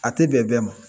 A tɛ bɛn bɛɛ ma